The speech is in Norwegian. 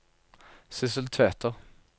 Sissel Tveter